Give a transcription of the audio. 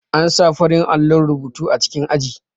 An sa farin allo rubutu a cikin aji